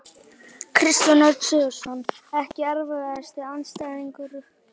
Kristján Örn Sigurðsson Ekki erfiðasti andstæðingur?